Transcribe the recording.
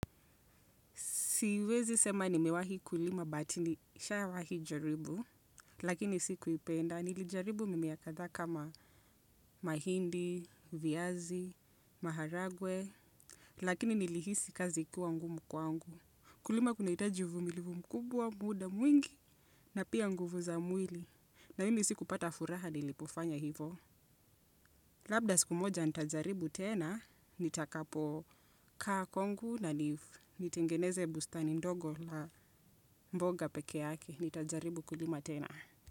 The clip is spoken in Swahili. Siwezi sema nimewahi kulima but nishawai jaribu lakini sikuipenda. Nilijaribu mimea kadhaa kama mahindi, viazi, maharagwe, lakini nilihisi kazi ikiwa ngumu kwangu. Kulima kunahitaji uvumilivu mkubwa, muda mwingi, na pia nguvu za mwili. Na mimi sikupata furaha nilipofanya hivo. Labda siku moja nitajaribu tena, nitakapo kaa kwangu na, nitengeneze bustani ndogo la mboga peke yake, nitajaribu kulima tena.